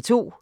06:00: